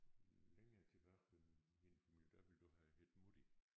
Længere tilbage ved min familie der ville du have heddet mutti